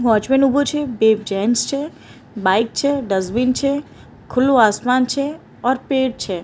Watchman ઉભો છે બે જેન્ટ્સ છે બાઈક છે ડસ્ટબિન છે ખુલ્લુ આસમાન છે ઓર પેડ છે.